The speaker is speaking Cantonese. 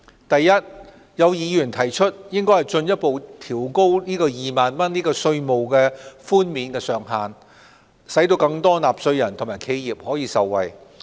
第一，有議員提出應進一步調高2萬元的稅務寬免上限，使更多納稅人和企業受惠。